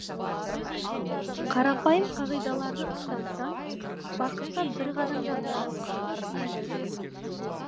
қарапайым қағидаларды ұстансаң бақытқа бір қадам жақындайсың